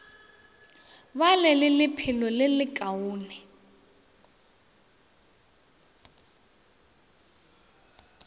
ba le lephelo le lekaone